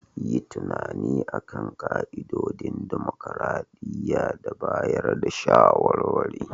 Yi tunani a kan ka'idodin dimokuradiyya da bayar da shawarwari.